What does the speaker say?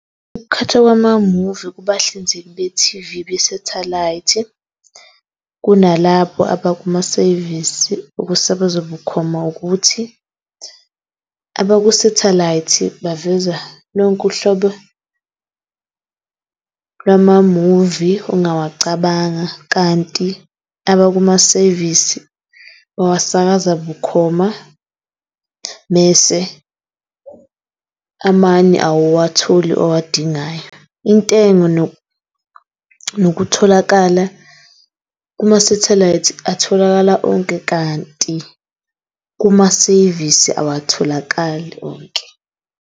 Ukukhethwa kwama-movie kubahlinzeki be-T_V be-satellite kunalabo abakuma-service, ukusabaza bukhoma ukuthi abaku-satellite baveza lonke uhlobo lwama-movie ongawacabanga kanti abakuma-service owasakaza bukhoma mese amane awuwatholi owadingayo. Intengo nokutholakala kuma-satlite atholakala onke, kanti kuma-service awatholakali onke.